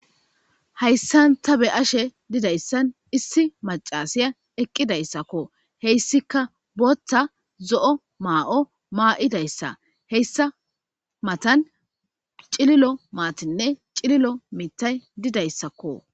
Hayssan ta be ashe didayssan issi macasiya eqqidayssakko heyssika bota zo7o maa7o maa7idayssa heyssa matan cililo maatinne cililo mitay didayssakko.